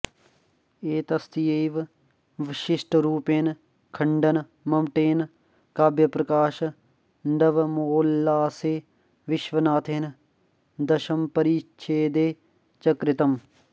एतस्यैव विशिष्टरूपेण खण्डन मम्मटेन काव्यप्रकाश नवमोल्लासे विश्वनाथेन दशमपरिच्छेदे च कृतम्